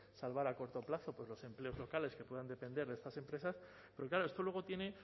salvar a corto plazo los empleos locales que puedan depender de esas empresas porque claro esto luego tiene